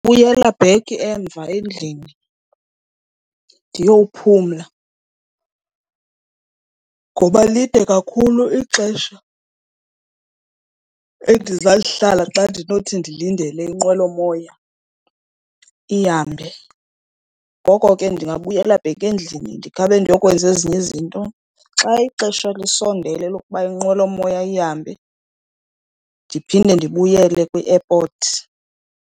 Buyela back emva endlini ndiyophumla ngoba lide kakhulu ixesha endizalihlala xa ndinothi ndilinde le nqwelomoya ihambe. Ngoko ke ndingabuyela back endlini ndikhabe ndiyokwenza ezinye izinto. Xa ixesha lisondele lokuba inqwelomoya ihambe, ndiphinde ndibuyele kwi-airport.